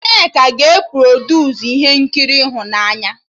Nneka ga-e produsu ihe nkiri ịhụnanya